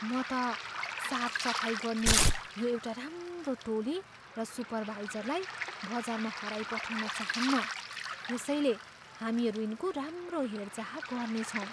म त साफ सफाई गर्ने यो एउटा राम्रो टोली र सुपरभाइजरलाई बजारमा हराइपठाउन चाहन्न। यसैले, हामीहरू यिनको राम्रो हेरचाह गर्नेछौँ।